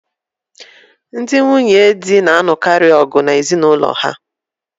Ndị nwunye otu di lụrụ na-alụkarị ọgu na ezinụlọ ha